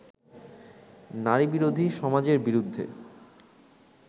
নারীবিরোধী সমাজের বিরুদ্ধে